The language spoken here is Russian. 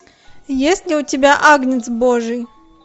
есть ли у тебя агнец божий